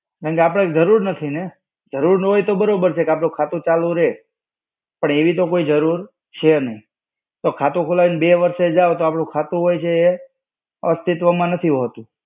કારણકે આપણે જરૂર નથી ને, જરૂર ના હોય તો બરોબર છે કે આપણું ખાતું ચાલુ રેય, પણ એવી તો કોઈ જરૂર છે નહિ. તો ખાતું ખોલાવીને બે વર્ષે જાવ તો આપણું ખાતું હોય છે એ અસ્તિત્વમાં નથી હોતું.